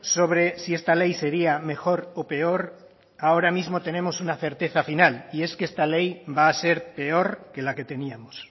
sobre si esta ley sería mejor o peor ahora mismo tenemos una certeza final y es que esta ley va a ser peor que la que teníamos